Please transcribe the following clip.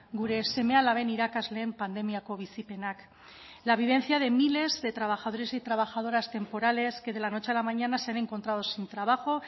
gure seme alaben irakasleen pandemiako bizipenak la vivencia de miles de trabajadores y trabajadoras temporales que de la noche a la mañana se han encontrado sin trabajo